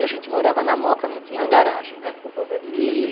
E a gente morava na moca, não tinha garagem, né? E...